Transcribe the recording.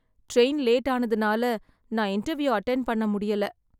Train late ஆனதுனால நான் interview attend பண்ண முடியல.